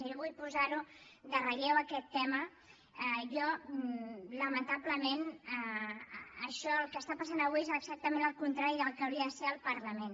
jo vull posar lo en relleu aquest tema jo lamentablement això el que està passant avui és exactament el contrari del que hauria de ser el parlament